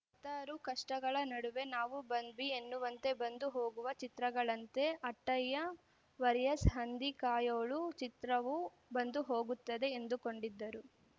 ಹತ್ತಾರು ಕಷ್ಟಗಳ ನಡುವೆ ನಾವು ಬಂದ್ವಿ ಎನ್ನುವಂತೆ ಬಂದು ಹೋಗುವ ಚಿತ್ರಗಳಂತೆ ಅಟ್ಟಯ್ಯ ವರಿಯಸ್ ಹಂದಿ ಕಾಯೋಳು ಚಿತ್ರವೂ ಬಂದು ಹೋಗುತ್ತದೆ ಎಂದುಕೊಂಡಿದ್ದರು